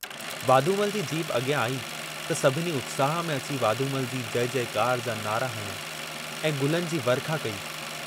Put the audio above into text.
Wadhumal ji jeep अॻियां आई त सभिनी उत्साह में अची वाधूमल जी जय जयकार जा नारा हंया ऐं गुलनि जी वर्खा कई।